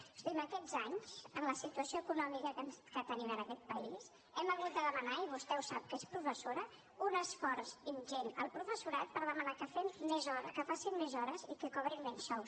és a dir en aquests anys amb la situació econòmica que tenim en aquest país hem hagut de demanar i vostè ho sap que és professora un esforç ingent al professorat per demanar que facin més hores i que cobrin menys sou